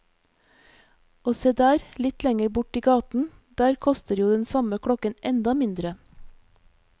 Og se der, litt lenger bort i gaten, der koster jo den samme klokken enda mindre.